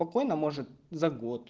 спокойно может за год